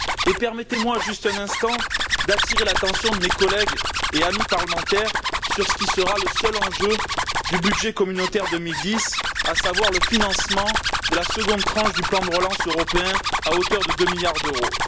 Et permettez moi juste un instant d'attirer l'attention de mes collègues et amis parlementaires sur ce qui sera le seul enjeu du budget communautaire 2010, à savoir le financement de la seconde tranche du plan de relance européen à hauteur de deux milliards d'euros.